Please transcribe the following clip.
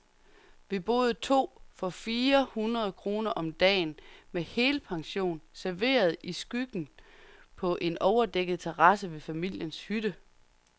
Vi boede to for fire hundrede kroner om dagen, med helpension, serveret i skyggen på en overdækket terrasse ved familiens hytte.